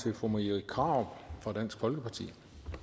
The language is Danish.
til fru marie krarup fra dansk folkeparti